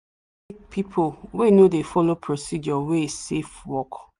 we no dey take people wey no dey follow procedure wey safe work